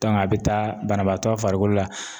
a bɛ taa banabaatɔ farikolo la